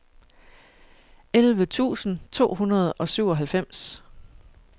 elleve tusind to hundrede og syvoghalvfems